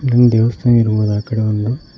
ಒಂದು ದೇವಸ್ಥಾನ ಇರಬಹುದು ಆಕಡೆ ಒಂದು--